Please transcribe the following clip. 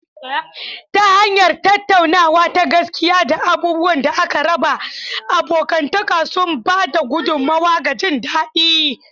Ta hanyar tattaunawa ta gaskiya da abubuwan da aka raba, abokantaka suna ba da gudummawa ga jin daɗi.